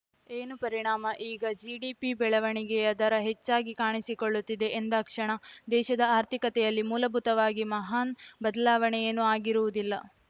ಏನು ಪರಿಣಾಮ ಈಗ ಜಿಡಿಪಿ ಬೆಳವಣಿಗೆಯ ದರ ಹೆಚ್ಚಾಗಿ ಕಾಣಿಸಿಕೊಳ್ಳುತ್ತಿದೆ ಎಂದಾಕ್ಷಣ ದೇಶದ ಆರ್ಥಿಕತೆಯಲ್ಲಿ ಮೂಲಭೂತವಾಗಿ ಮಹಾನ್‌ ಬದಲಾವಣೆಯೇನೂ ಆಗಿರುವುದಿಲ್ಲ